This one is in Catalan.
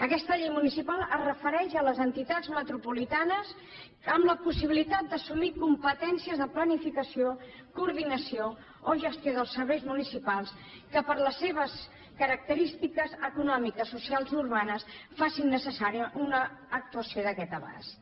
aquesta llei municipal es refereix a les entitats metropolitanes amb la possibilitat d’assumir competències de planificació coordinació o gestió dels serveis municipals que per les seves característiques econòmiques socials i urbanes facin necessària una actuació d’aquest abast